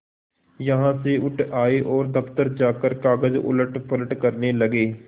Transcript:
यहाँ से उठ आये और दफ्तर जाकर कागज उलटपलट करने लगे